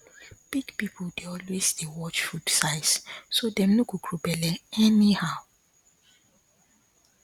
big people dey always dey watch food size so dem no go grow belle anyhow